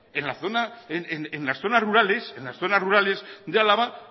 en las zonas rurales de álava